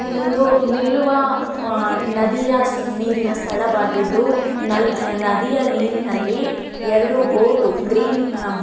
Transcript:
ಇದೊಂದು ನಿಲ್ಲುವ ನದಿಯ ನೀರಿನ ಸ್ಥಳವಾಗಿದ್ದು ನದಿಯ ನೀರಿನಲ್ಲಿ ಎರಡು ಬೋಟ್ ಗ್ರೀನ್--